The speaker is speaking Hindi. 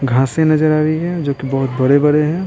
घासे नजर आ रही है जो कि बहुत बड़े-बड़े हैं।